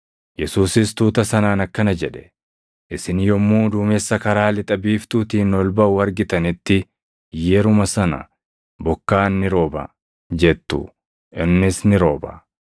Yesuusis tuuta sanaan akkana jedhe; “Isin yommuu duumessa karaa lixa biiftuutiin ol baʼu argitanitti yeruma sana, ‘Bokkaan ni rooba’ jettu; innis ni rooba.